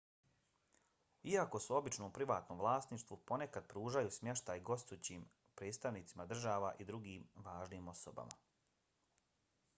iako su obično u privatnom vlasništvu ponekad pružaju smještaj gostujućim predstavnicima država i drugim važnim osobama